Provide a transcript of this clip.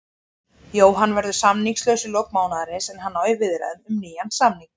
Jóhann verður samningslaus í lok mánaðarins en hann á í viðræðum um nýjan samning.